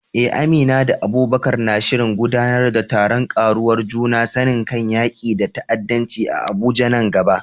Eh, Amina da Abubakar na shirin gudanar da taron ƙarawa juna sani kan yaƙi da ta’addanci a Abuja nan gaba.